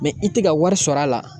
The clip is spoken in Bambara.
i tɛ ka wari sɔrɔ a la